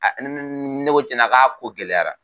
Aa ni ne ne ko tiɲɛ k'a ko gɛlɛyara.